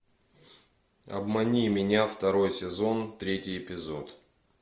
обмани меня второй сезон третий эпизод